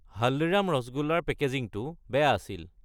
হালদিৰাম ৰাসগোল্লা ৰ পেকেজিঙটো বেয়া আছিল।